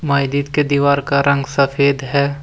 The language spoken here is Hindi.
मायदीद के दीवार का रंग सफ़ेद है।